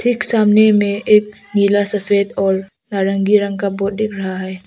एक सामने में एक नीला सफेद और नारंगी रंग का बोट दिख रहा है।